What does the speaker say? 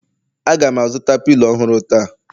Aga m azụta pilo ọhụrụ taa